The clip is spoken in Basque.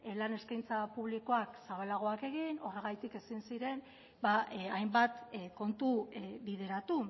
lan eskaintza publikoak zabalagoak egin horregatik ezin ziren hainbat kontu bideratu